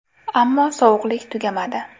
Ammo sovuqlik tugamadi.